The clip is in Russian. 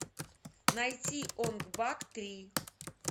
найти онг бак три